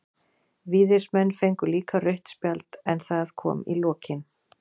Víðismenn fengu líka rautt spjald, en það kom í lokin.